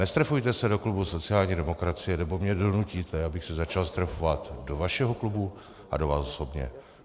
Nestrefujte se do klubu sociální demokracie, nebo mě donutíte, abych se začal strefovat do vašeho klubu a do vás osobně.